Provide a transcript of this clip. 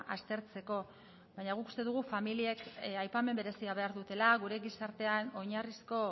aztertzeko baina guk uste dugu familiek aipamen berezia behar dutela gure gizartean oinarrizko